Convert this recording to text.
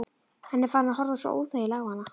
Hann er farinn að horfa svo óþægilega á hana.